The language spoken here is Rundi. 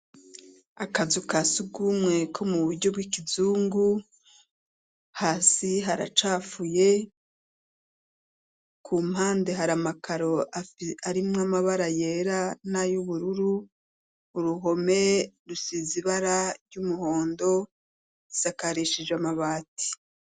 Akazu ka surwumwe, ko mu buryo bw'ikizungu, hasi haracafuye, ku mpande, hari amakaro, arimwo amabara yera, n'ay'ubururu, uruhome rusize ibara ry'umuhondo, sakarishije amabati.